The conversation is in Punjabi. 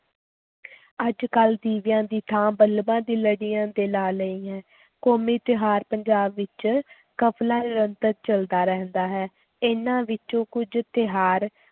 ਅੱਜ-ਕੱਲ੍ਹ ਦੀਵਿਆਂ ਦੀ ਥਾਂ ਬਲਬਾਂ ਦੀ ਲੜੀਆਂ ਤੇ ਲਾ ਲਈ ਹੈ, ਕੌਮੀ ਤਿਉਹਾਰ ਪੰਜਾਬ ਵਿੱਚ ਕਾਫ਼ਲਾ ਨਿਰੰਤਰ ਚੱਲਦਾ ਰਹਿੰਦਾ ਹੈ, ਇਨ੍ਹਾਂ ਵਿੱਚੋਂ ਕੁੱਝ ਤਿਉਹਾਰ